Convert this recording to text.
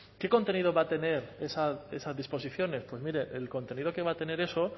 qué contenido van a tener esas disposiciones pues mire el contenido que va a tener eso